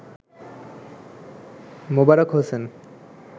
Mobarak Hossain